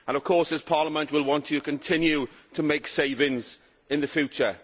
Of course, this Parliament will want to continue to make savings in the future.